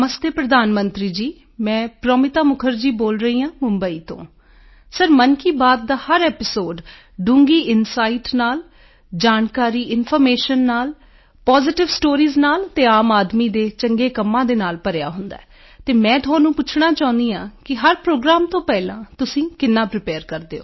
ਨਮਸਤੇ ਪ੍ਰਧਾਨ ਮੰਤਰੀ ਜੀ ਮੈਂ ਪ੍ਰੋਮਿਤਾ ਮੁਖਰਜੀ ਬੋਲ ਰਹੀ ਹਾਂ ਮੁੰਬਈ ਤੋਂ ਸਰ ਮਨ ਕੀ ਬਾਤ ਦਾ ਹਰ ਐਪੀਸੋਡ ਡੂੰਘੀ ਇਨਸਾਈਟ ਨਾਲ ਜਾਣਕਾਰੀ ਇਨਫਾਰਮੇਸ਼ਨ ਨਾਲ ਪੋਜ਼ੀਟਿਵ ਸਟੋਰੀਜ਼ ਨਾਲ ਅਤੇ ਆਮ ਆਦਮੀ ਦੇ ਚੰਗੇ ਕੰਮਾਂ ਦੇ ਨਾਲ ਭਰਿਆ ਹੁੰਦਾ ਹੈ ਤੇ ਮੈਂ ਤੁਹਾਨੂੰ ਪੁੱਛਣਾ ਚਾਹੁੰਦੀ ਹਾਂ ਕਿ ਹਰ ਪ੍ਰੋਗਰਾਮ ਤੋਂ ਪਹਿਲਾਂ ਤੁਸੀਂ ਕਿੰਨਾ ਪ੍ਰੀਪੇਅਰ ਕਰਦੇ ਹੋ